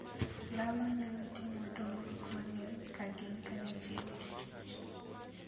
Dhano nyalo timo dongruok mang'eny ka gin kanyachiel gi Kich.